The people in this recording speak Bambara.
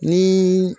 Ni